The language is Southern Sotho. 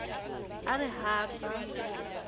a re ha a sa